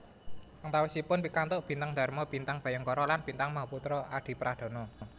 Antawisipun pikantuk Bintang Dharma Bintang Bhayangkara lan Bintang Mahaputra Adipradana